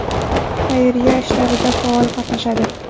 Xayriya ishlarida faol qatnashadi.